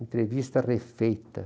Entrevista refeita.